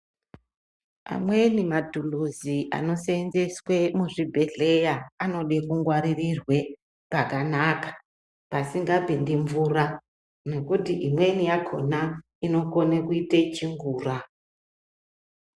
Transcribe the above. Amweni matuluzi anoseenzeswa muzvibhedhleya anoda kungwarirwe pakanaka pasingapindi mvura ngekuti imweni yakhona inokona kuita chingura.